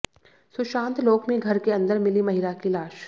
सुशांत लोक में घर के अंदर मिली महिला की लाश